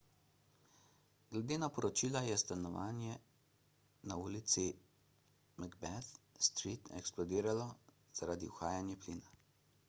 glede na poročila je stanovanje na ulici macbeth street eksplodiralo zaradi uhajanja plina